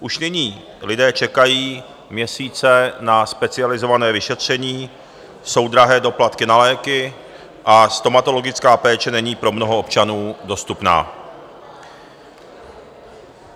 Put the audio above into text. Už nyní lidé čekají měsíce na specializované vyšetření, jsou drahé doplatky na léky a stomatologická péče není pro mnoho občanů dostupná.